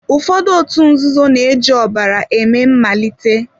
Ụfọdụ òtù nzuzo na-eji ọbara eme malite.